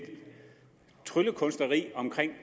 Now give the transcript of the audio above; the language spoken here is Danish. tryllekunstneri om